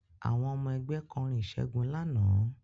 Àwọn ọmọ ẹgbẹ́ kọrin ìṣègun lánàá